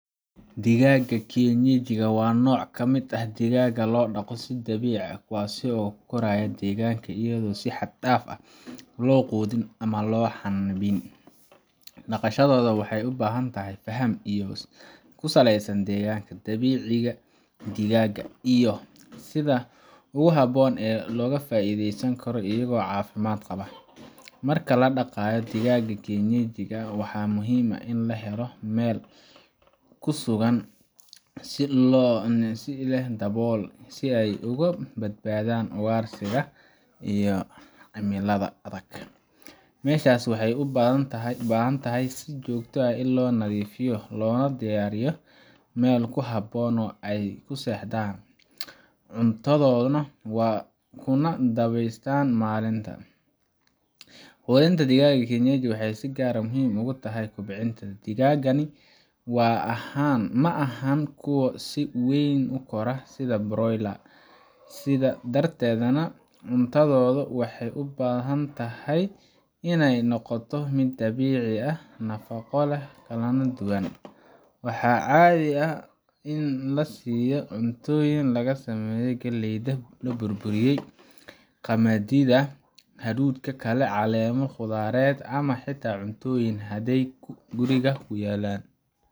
Digaaga kienyeji waa nooc kamid ah digaaga loo daqo si dabiici ah kuwaasi oo koraayo ayado digaaga ayado si xad daaf ah loo quudiyo ama loo xanaaneyo, daqashadooda waxeey ubahan tahay faham kusaleysan dabiiciga digaaga iyo sida ugu haboon oo looga faideysan karo iyago cafimaad qabo, marka ladaqaayo digaaga kienyeji ah waxaa muhiim ah in la helo meel kusugan si loo badbadaan ugaarsiga iyo cimilada adag, meeshaas waxeey ubahan tahay si joogta ah in loo nadiifiya loona diyaariyo, cuntadoodana kuna daweeshadaan malinta, quudinta digaaga kienyeji waxeey si gaar ah muhiim ugu tahay kobcinta digaaga, maahan kuwa si weyn ukora sida broiler ,sidaas darteed cuntadooda waxeey ubahan tahay inaay noqoto mid dabiici ah nafaqo leh, waxaa caadi ah in lasiiyo cuntooyin laga sameeye galeyda la burburiye, qamadiida, haruudka kale caleema qudaared ama xitaa cuntoyiin hadeey guriga kuu yaalan.